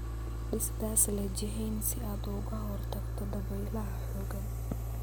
Dhis daas leh jihayn si aad uga hortagto dabaylaha xooggan.